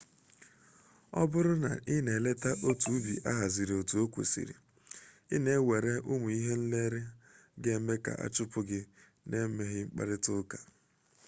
ọ bụrụ na ị na-eleta otu ubi ahazigoro etu o kwesịrị ị na-ewere ụmụ ihe nlere ga-eme ka a chụpụ gị na-emeghị mkparịta ụka